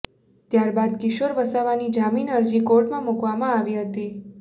ત્યાર બાદ કિશોર વસાવાની જામીન અરજી કોર્ટમાં મૂકવામાં આવી હતી